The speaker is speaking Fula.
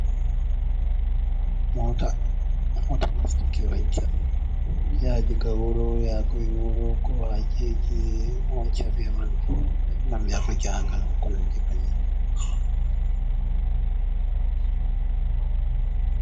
"Moota" moota nastuki wancha ya ha diga wuro yago e wuro ko hajeji wancha ɓe man ngam yago jahangal ko nandi banani.